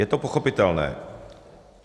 Je to pochopitelné.